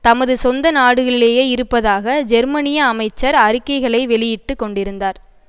தமது சொந்தநாடுகளிலேயே இருப்பதாக ஜெர்மனிய அமைச்சர் அறிக்கைகளை வெளியிட்டு கொண்டிருந்தார்